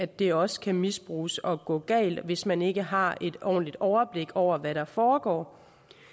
det også kan misbruges og gå galt hvis man ikke har et ordentligt overblik over hvad der foregår